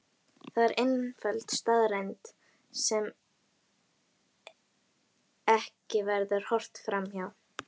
Það er einföld staðreynd sem ekki verður horft fram hjá.